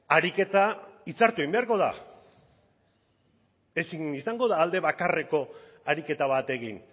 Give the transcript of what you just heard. ariketa hitzartu egin beharko da ezin izango da alde bakarreko ariketa bat egin